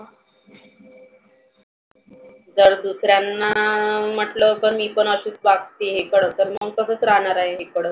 जर दुरर्यांना म्हटल तर मी पण अशीच वागते खर तर मग तसच राहणार आहे.